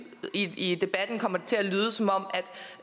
i debatten kommer til at lyde som om